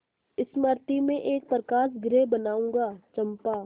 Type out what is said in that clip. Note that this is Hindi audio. मृति में एक प्रकाशगृह बनाऊंगा चंपा